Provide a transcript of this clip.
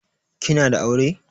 Kina da aure?